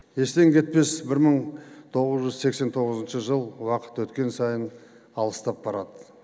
естен кетпес бір мың тоғыз жүз сексен тоғызыншы жыл уақыт өткен сайын алыстап барады